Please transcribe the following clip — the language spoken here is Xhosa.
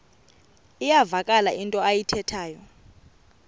iyavakala into ayithethayo